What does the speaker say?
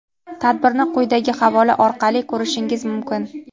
Tadbirni quyidagi havola orqali ko‘rishingiz mumkin.